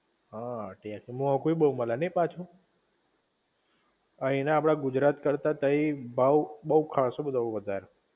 હા ત્યાંતો મોંઘું ય બોવ મલે નહિ પાછું? આઈ ના આપડા ગુજરાત કરતાં ત્યાં ભાવ બવ ખાસ્સો બધો વધારે